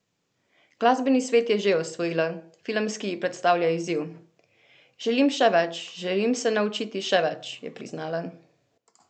Glasbeni svet je že osvojila, filmski ji predstavlja izziv: "Želim še več, želim se naučiti še več," je priznala.